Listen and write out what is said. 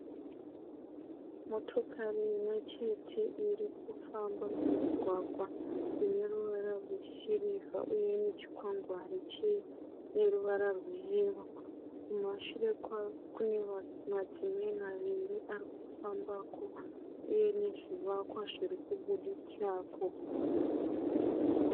Motokari imwe chete iri kufamba mumugwagwa ine ruvara rwesirivha uye ine chikwangwari chine ruvara rweyero. Kumashure kwayo kune madzimai maviri ari kufambako uye nezvivakwa zviri kubudikirako.